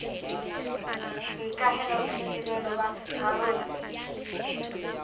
ho ikahela boitsebelo ba rarolle